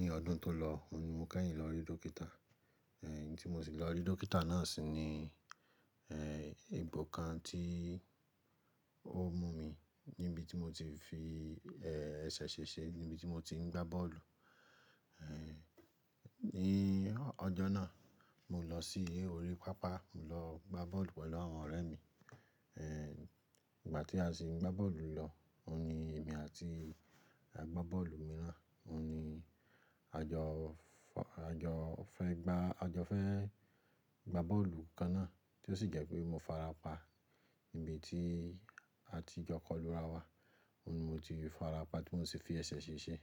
Ní ọdún tó lọ, òun ni mo kẹ́yìn lọ rí dókítà. Ẹ̀, ohun tí mo sì lọ rí dókítà náà sì ni, ẹ̀, egbò kan tí ó mú mi níbi tí mo ti fi, ẹ́ẹ́, ẹsẹ̀ ṣe ṣe níbi tí mo ti ń gbá bọ́ọ̀lù. Ẹ̀, ní ọjọ́ náà, mo lọ sí orí pápá, mo lọ gbá bọ́ọ̀lù pẹ̀lú àwọn ọ̀rẹ́ mi. Ẹ̀, ìgbà tí a sì ń gbá bọ́ọ̀lù lọ, òun ni èmi àti agbábọ́ọ̀lù mìíràn, òun ni a jọ fọ-- a jọ fẹ́ gbá-- a jọ fẹ́ gbá bọ́ọ̀lù kan náà tí ó sì jẹ́ pé mo farapa níbi tí a ti jo kolu ra wa. Òun ni mo ti farapa tí mò sì fi ẹsẹ̀ ṣe ṣe.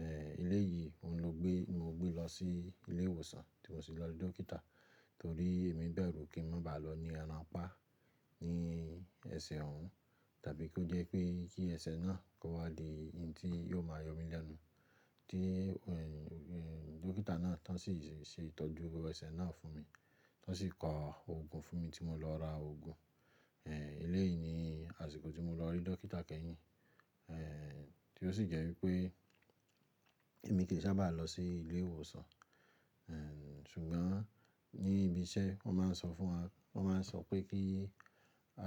Ẹ̀, eléyìí mo ló gbé, mo gbé lọ sí ilé ìwòsàn, tí mo sì lọ rí dókítà torí èmi bẹ̀rù kí n má bàá lọ ní ara ń pá ní ẹsẹ̀ òun tàbí kí ó jẹ́ pé kí ẹsẹ̀ náà kó wá di ohun tí yóò máa yọ mí lẹ́nu. Tí, ẹ̀, ẹ̀, dókítà náà tán sì ṣe ìtọ́jú ẹsẹ̀ náà fún mi. Tán sì ko ogun fún mi, tí mo lo ra ogun ẹ̀, eléyìí ni àsìkò tí mo lọ rí dókítà kẹ́yìn, ẹ̀, tí ó sì jẹ́ wípé èmi kì í sábà lọ sí ilé ìwòsàn. Ẹ̀, ṣùgbọ́n ní ibi iṣẹ́, wọ́n máa ń sọ fún wa-- wọ́n máa ń sọ pé kí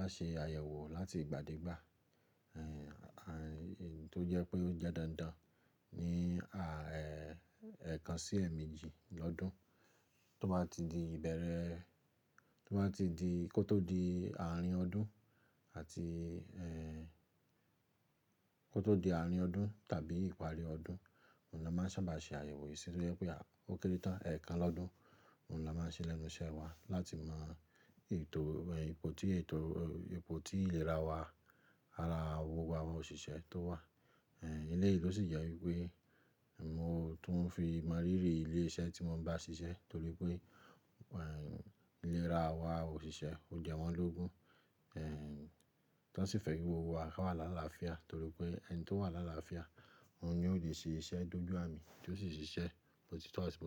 a ṣe àyẹ̀wò láti ìgbàdégbà. Èyí tó jé pé o je dáadáa ní èèkan sí èèméji lódún tó bá ti di ìbèrè, tó bá ti di kò tó di àárín ọdún, kò tó di àárín ọdún àbí ìparí ọdún, òun la máa sàbà se àyẹ̀wò yìí tó jé pé òkèrè tán, èèkan lódún òun la máa ń ṣe lẹ́nu iṣẹ́ wa láti mọ ètò, ẹ̀, ipò tí ètò, ipò tí ìlera wa, ara awọ àwọn òṣìṣẹ́ tó wà. Ẹ̀, eléyìí ló sì jẹ́ wípé, mo tún ń fi mọ̀ rírì ilé iṣẹ́ tí mò ń bá ṣiṣẹ́ torí pé, ẹ̀, ìlera àwa òṣìṣẹ́ ó jẹ wọ́n lógun. Ẹ̀, tán sì fẹ́ kí gbogbo wa wà lála fìá torí pé ẹni tó wà lála fìá, òun ni yóò lè ṣe iṣẹ́ dójú àmì tí ó sì ṣiṣẹ́, bó ti tó àti bó.